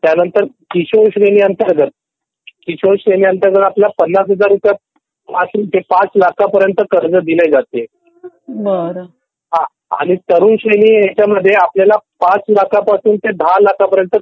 त्यानंतर किशोर कर्ज किशोर श्रेणी कर्ज अंतर्गत आपल्याला ५० हजार ते ५ लाख पर्यंत आपल्याला कर्ज दिले जाते आणि तरुण श्रेणी च्या ह्याचमढे आपलयाला ५ लखपासून ते १० लाखापर्यंत